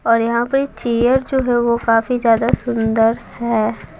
और यहां पे चेयर जो है वो काफी ज्यादा सुंदर है।